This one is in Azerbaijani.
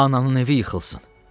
Ananın evi yıxılsın!